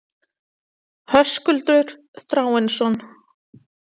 Höskuldur Þráinsson.